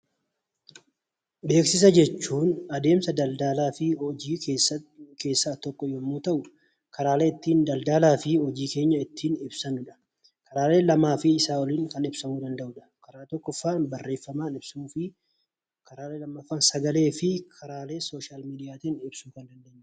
Beeksisa jechuun adeemsa daldalaa fi hojii keessaa tokko yommuu ta'u, karaalee ittiin daldalaa fi hojii keenya ittiin ibsannudha. Karaalee lamaa fi isaa oliin kan ibsamuu danda'udha. Karaa tokkoffaan barreeffamaan ibsuu fi karaa inni lammaffaan sagalee fi karaalee sooshaal miidiyaatiin ibsuu kan dandeenyudha.